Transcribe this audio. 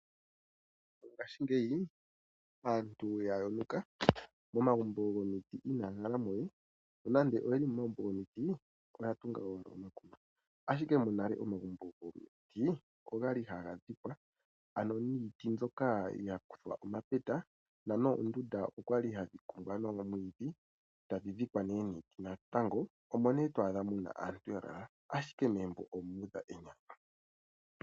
Ngaashingeyi aantu ya yonuka. Momagumbo gomiti inaya hala mo we, nonando oye li momagumbo gomiti oya tunga owala omakuma. Ashike monale omagumbo gomiti ogali haga dhikwa, ano niiti mbyoka ya kuthwa omapeta dho noondunda odhali hadhi kumbwa noomwiidhi e tadhi dhikwa nee niiti natango, omo nee to adha aantu ya lala, ashike megumbo omu udha enyanyu.